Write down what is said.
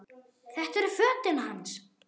Þetta eru fötin hans!